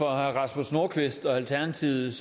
rasmus nordqvist og alternativet